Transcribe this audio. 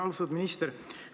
Austatud minister!